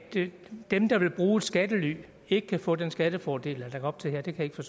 dem der vil bruge skattely ikke kan få den skattefordel lagt op til her det kan